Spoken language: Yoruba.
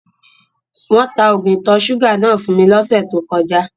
Wọn tà oogun ìtọ̀ sugà náà fun mi lọsẹ̀ tó kọja.